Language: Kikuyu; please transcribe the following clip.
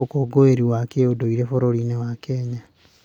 Ũkũngũĩri wa kĩũndũire bũrũri-inĩ wa Kenya.